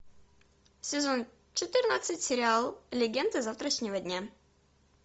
сезон четырнадцать сериал легенды завтрашнего дня